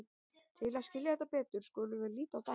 Til að skilja þetta betur skulum við líta á dæmi.